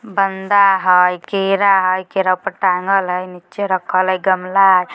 बंधा हई केरा हई केरा ऊपर टांगल हई नीचे रखल हई गमला हई।